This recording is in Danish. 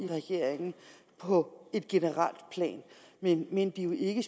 på et generelt plan men men det er jo ikke